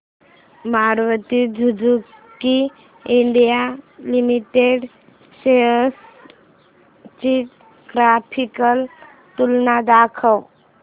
Maruti Suzuki India limited shares ची graphical तुलना दाखव